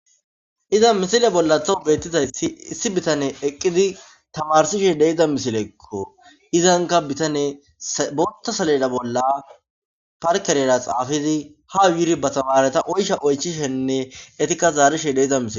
Iza misile bolla thow beettizayssi issi bitane eqqidi tamarsishe deiza misilekko izanka bitane boota saleda bolla parkereyra xaafidi ha yuri ba tamareta oysha oychishenne etikka zaarishe deyiza misile